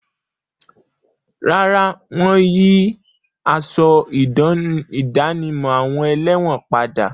Rárá, wọ́n yí aṣọ ìdánimọ̀ àwọn ẹlẹ́wọ̀n padà.